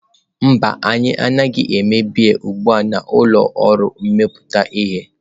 Mba, anyị anaghị eme biya ugbu a na ụlọ ọrụ mmepụta ihe.